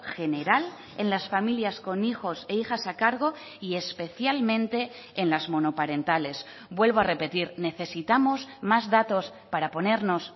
general en las familias con hijos e hijas a cargo y especialmente en las monoparentales vuelvo a repetir necesitamos más datos para ponernos